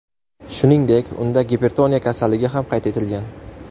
Shuningdek, unda gipertoniya kasalligi ham qayd etilgan.